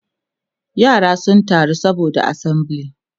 yara sun taru saboda assembly